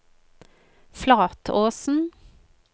Flatåsen